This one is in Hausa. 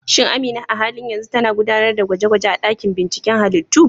Shin Amina a halin yanzu tana gudanar da gwaje-gwaje a dakin binciken halittu?